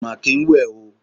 Kò máa kín ń wẹ̀ o.